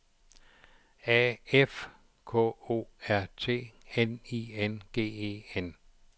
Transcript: A F K O R T N I N G E N